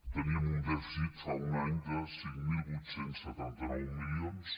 teníem un dèficit fa un any de cinc mil vuit cents i setanta nou milions